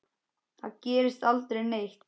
Þar gerist aldrei neitt.